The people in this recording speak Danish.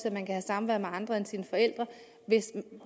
at man kan have samvær med andre end sine forældre